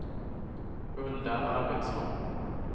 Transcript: Hulda Arvidsson